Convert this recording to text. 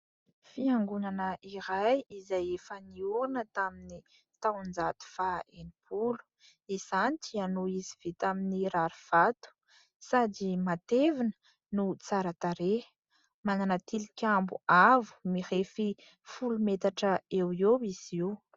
Fiangonana iray izay efa niorina tamin'ny taon-jato faha enimpolo. Izany dia noho izy vita amin'ny rarivato sady matevina no tsara tarehy. Manana tilikambo avo mirefy folo metatra eo eo izy io.